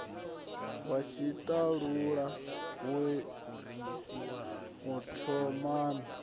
wa tshiṱalula we u thomani